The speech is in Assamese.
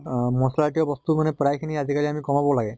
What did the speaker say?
অহ মছলা জাতীয় বস্তু মানে প্ৰায় খিনি আজি কালি কমাব লাগে